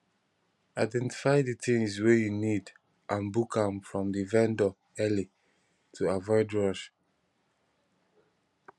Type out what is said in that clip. identify di things wey you need and book am from di vendor early to avoid rush